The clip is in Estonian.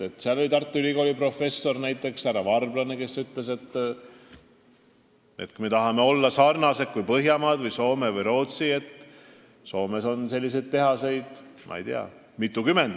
Seal oli näiteks Tartu Ülikooli professor härra Varblane, kes ütles, et kui me tahame sarnaneda Põhjamaadega, Soome või Rootsiga, siis Soomes on ju selliseid tehaseid vist mitukümmend.